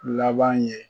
Laban ye